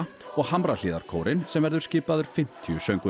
og Hamrahlíðarkórinn sem verður skipaður fimmtíu söngvurum